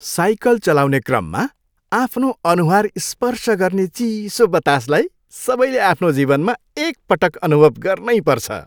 Cycle चलाउने क्रममा आफ्नो अनुहार स्पर्श गर्ने चिसो बतासलाई सबैले आफ्नो जीवनमा एकपटक अनुभव गर्नैपर्छ।